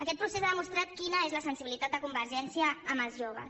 aquest procés ha demostrat quina és la sensibilitat de convergència amb els joves